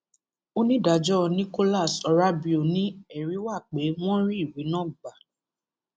onídàájọ nicholas orábio ni ẹrí wà pé wọn rí ìwé náà gbà